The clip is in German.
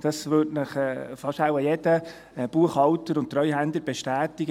Das würde Ihnen wohl fast jeder Buchhalter und Treuhänder bestätigen: